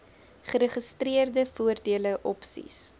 geregistreerde voordele opsies